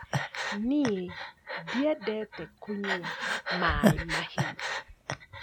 Niĩ ndĩendete kunyua maĩ mahiũ